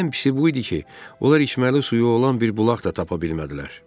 Ən pisi bu idi ki, onlar içməli suyu olan bir bulaq da tapa bilmədilər.